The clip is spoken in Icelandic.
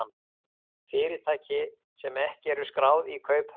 Fyrirtæki sem ekki eru skráð í kauphöll